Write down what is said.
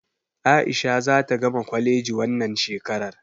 A'isha zata gama kwaleji wannan shekarar.